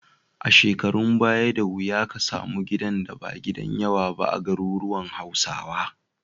A shekarun baya, da wuya ka samu gidan da ba gidan yawa ba a garuruwan Hausawa.